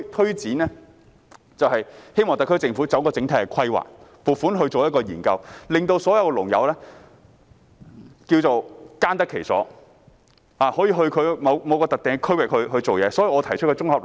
因此，我們希望特區政府作出整體規劃，撥款進行研究，使所有農友耕得其所，可以到某個特定的區域工作。